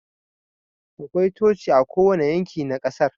Akwai Coci a kowane yanki na kasar